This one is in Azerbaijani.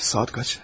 Saat neçədir?